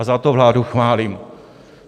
A za to vládu chválím.